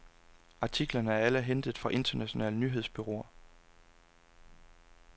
Artiklerne er alle hentet fra internationale nyhedsbureauer.